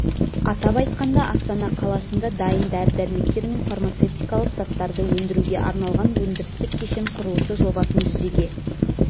атап айтқанда астана қаласында дайын дәрі-дәрмектер мен фармацевтикалық заттарды өндіруге арналған өндірістік кешен құрылысы жобасын жүзеге